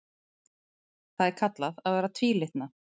Það er kallað að vera tvílitna.